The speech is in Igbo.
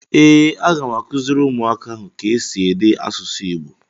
Ee, a ga m akuziri umuaka ahụ ka esi ede asusu igbo.